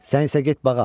Sən isə get bağa.